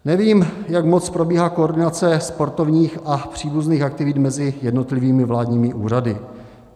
Nevím, jak moc probíhá koordinace sportovních a příbuzných aktivit mezi jednotlivými vládními úřady.